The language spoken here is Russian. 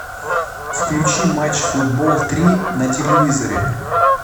включи матч футбол три на телевизоре